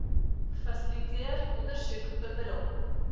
fasiliteer ondersoek bemiddel